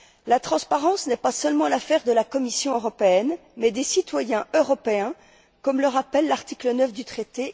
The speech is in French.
La transparence n'est pas seulement l'affaire de la Commission européenne, mais des citoyens européens, comme le rappelle l'article 9 du traité.